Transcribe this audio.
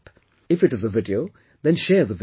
If it is a video, then share the video